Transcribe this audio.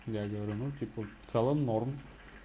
я говорю ну типа в целом норм